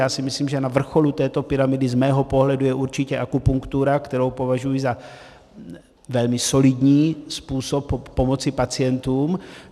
Já si myslím, že na vrcholu této pyramidy z mého pohledu je určitě akupunktura, kterou považuji za velmi solidní způsob pomoci pacientům.